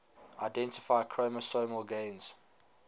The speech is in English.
identify chromosomal gains